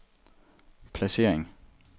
placering